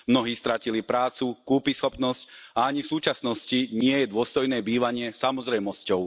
Mnohí stratili prácu, kúpyschopnosť, a ani v súčasnosti nie je dôstojné bývanie samozrejmosťou.